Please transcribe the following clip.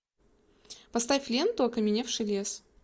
поставь ленту окаменевший лес